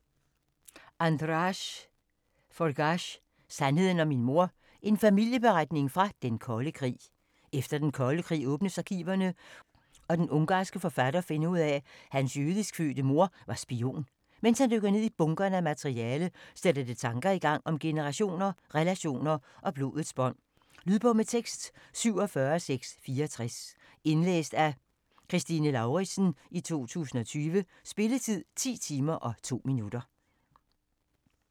Forgách, András: Sandheden om min mor: en familieberetning fra den kolde krig Efter den kolde krig åbnes arkiverne og den ungarnske forfatter finder ud af at hans jødisk fødte mor var spion. Mens han dykker ned i bunkerne af materiale, sætter det tanker i gang om generationer, relationer og blodets bånd. Lydbog med tekst 47664 Indlæst af Kristine Lauritzen, 2020. Spilletid: 10 timer, 2 minutter.